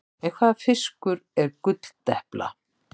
En hvaða fiskur er gulldepla?